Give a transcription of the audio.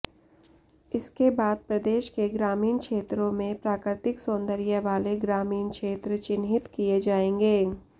इसके बाद प्रदेश के ग्रामीण क्षेत्रों में प्राकृतिक सौंदर्य वाले ग्रामीण क्षेत्र चिन्हित किए जाएंगे